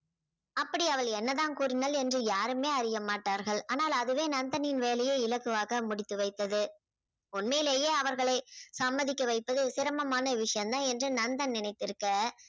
அப்படி அவள் என்னதான் கூறினாள் என்று யாருமே அறியமாட்டார்கள். ஆனால் அதுவே நந்தனின் வேலையை இலகுவாக முடித்து வைத்தது. உண்மையிலேயே அவர்களை சம்மதிக்க வைப்பது சிரமமான விஷயம் தான் என்று நந்தன் நினைத்திருக்க